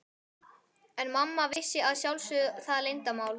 En mamma vissi að sjálfsögðu það leyndarmál.